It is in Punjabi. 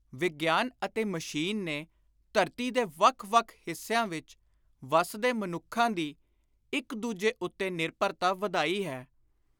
ਵਿਗਿਆਨ ਅਤੇ ਮਸ਼ੀਨ ਨੇ ਧਰਤੀ ਦੇ ਵੱਖ ਵੱਖ ਹਿੱਸਿਆਂ ਵਿਚ ਵੱਸਦੇ ਮਨੁੱਖਾਂ ਦੀ ਇਕ ਦੂਜੇ ਉੱਤੇ ਨਿਰਭਰਤਾ ਵਧਾਈ ਹੈ;